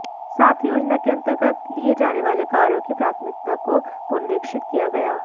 साथ ही योजना के अंतर्गत लिए जाने वाले कार्यों की प्राथमिकता को पुनरीक्षित किया गया